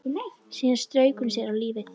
Síðan strauk hún sér á lífið.